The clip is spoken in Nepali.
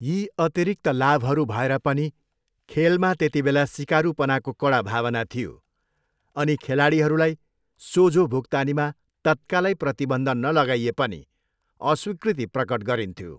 यी अतिरिक्त लाभहरू भएर पनि, खेलमा त्यतिबेला सिकारूपनाको कडा भावना थियो अनि खेलाडीहरूलाई सोझो भुक्तानीमा तत्कालै प्रतिबन्ध नलगाइए पनि अस्वीकृति प्रकट गरिन्थ्यो।